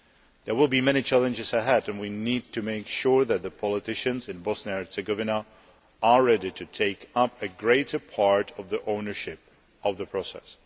There will be many challenges ahead and we need to make sure that the politicians in Bosnia and Herzegovina are ready to take up a greater part of the ownership of the process.